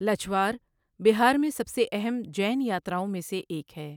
لچھوار بہار میں سب سے اہم جین یاتراؤں میں سے ایک ہے۔